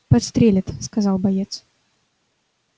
подстрелят сказал боец